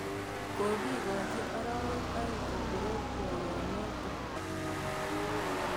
Kokikochi arawek aeng' koporock poiyonotok.